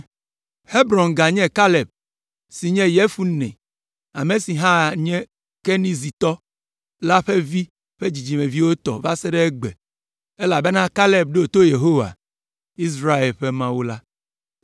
Hebron ganye Kaleb, si nye Yefune, ame si hã nye Kenizitɔ la ƒe vi ƒe dzidzimeviwo tɔ va se ɖe egbe, elabena Kaleb ɖo to Yehowa, Israel ƒe Mawu la.